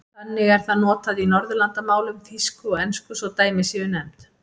Þannig er það notað í Norðurlandamálum, þýsku og ensku svo dæmi séu nefnd.